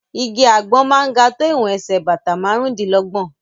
Igi àgbọn máa ń ga tó ìwọ̀n ẹsẹ̀ bàtà márùn-ún dí lọ́gbọ̀n.